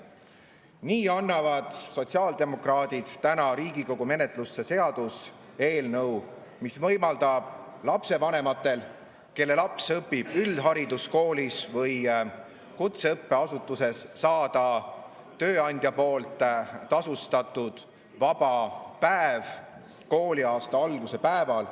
Nii annavad sotsiaaldemokraadid täna Riigikogu menetlusse seaduseelnõu, mis võimaldab lapsevanematel, kelle laps õpib üldhariduskoolis või kutseõppeasutuses, saada tööandja poolt tasustatud vaba päev kooliaasta alguse päeval.